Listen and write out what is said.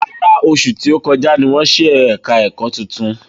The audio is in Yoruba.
Rárá, oṣù tí ó kọjá ní wọ́n ṣí ẹ̀ka ẹ̀kọ́ titun